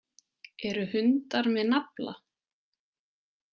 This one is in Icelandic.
Eru hundar með nafla.